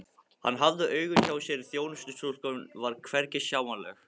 Hann hafði augun hjá sér en þjónustustúlkan var hvergi sjáanleg.